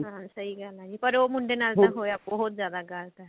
ਹਾਂ ਸਹੀ ਗੱਲ ਆ ਜੀ ਪਰ ਉਹ ਮੁੰਡੇ ਨਾਲ ਤਾਂ ਹੋਇਆ ਬਹੁਤ ਜਿਆਦਾ ਗਲਤ ਆ